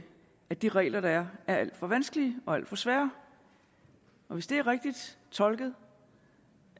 at de regler der er er alt for vanskelige og alt for svære og hvis det er rigtigt tolket